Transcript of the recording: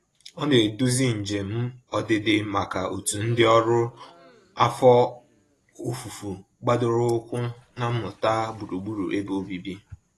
Ọ na-eduzi njem ọdịdị maka òtù ndị ọrụ afọ ofufo gbadoroụkwụ na mmụta gburugburu ebe obibi.